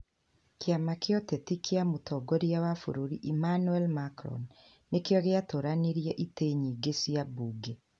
Kĩama kĩa ũteti kĩa mũtongoria wa bũrũri Emmanuel Macron nĩkĩo gĩatooranirie itĩ nyingĩ cia mbunge.